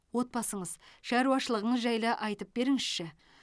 отбасыңыз шаруашылығыңыз жайлы айтып беріңізші